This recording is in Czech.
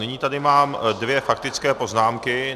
Nyní tady mám dvě faktické poznámky.